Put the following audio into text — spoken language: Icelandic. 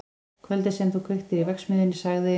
Kvöldið sem þú kveiktir í verksmiðjunni- sagði